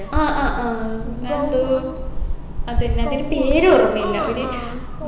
ആ ആ ആ അങ്ങനെ എന്തോ അതെന്നെ അതിൻെറ പേരോർമ്മയില്ല ഒര്